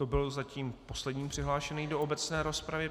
To byl zatím poslední přihlášený do obecné rozpravy.